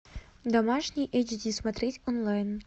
домашний эйч ди смотреть онлайн